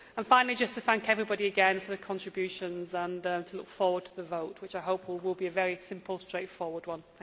Finally, just to thank everybody again for their contributions. I look forward to the vote, which I hope will be a very simple, straightforward one.